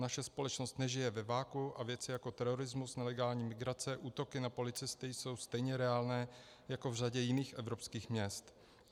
Naše společnost nežije ve vakuu a věci jako terorismus, nelegální migrace, útoky na policisty jsou stejně reálné jako v řadě jiných evropských měst.